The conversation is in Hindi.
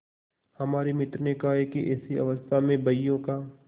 हमारे मित्र ने कहा कि ऐसी अवस्था में बहियों का